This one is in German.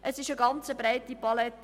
Es ist eine breite Palette.